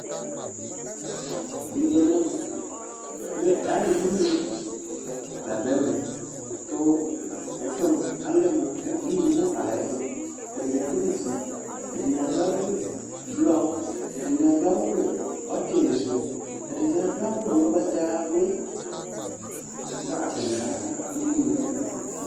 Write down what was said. Wʋ eyui ɛmɛ mʋa, ɛfʋ mʋ inu la dʋ ɛmɛKʋ ɛfʋɛ mʋa inumʋkayɛfʋ : ɛdɩnɩ adʋ awʋ fue, ɛdɩnɩ adʋ awʋ blɔ, ɛdɩnɩ adʋ awʋ ɔtɩlɩ sʋ,ɛdɩnɩ adʋ awʋ ʋgbatawlʋɩ, ka aka mʋinu nɛfʋɛ